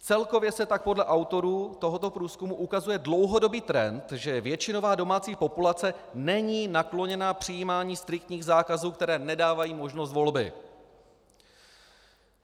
Celkově se tak podle autorů tohoto průzkumu ukazuje dlouhodobý trend, že většinová domácí populace není nakloněna přijímání striktních zákazů, které nedávají možnost volby.